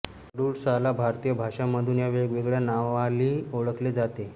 अडुळसाला भारतीय भाषांमधून या वेगवेगळ्या नावांली ओळखले जाते